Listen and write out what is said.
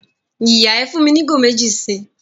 Ìyà, ẹ́ fún mi ni igo mẹ̀jì sí